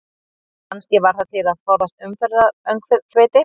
Kannski var það til að forðast umferðaröngþveiti?